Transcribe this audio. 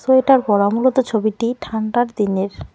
Sweater পড়া মূলত ছবিটি ঠান্ডার দিনের।